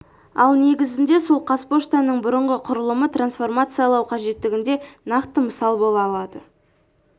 ал негізінде сол қазпоштаның бұрынғы құрылымы трансформациялау қажеттігіне нақты мысал бола алады